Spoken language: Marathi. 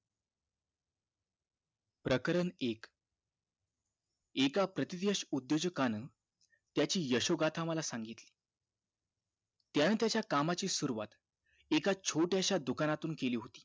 प्रकरण एक एका उद्योजकांन त्याची यशोगाथा मला सांगितली त्याने त्याच्या कामाची सुरवात एका छोट्याश्या दुकानातून केली होती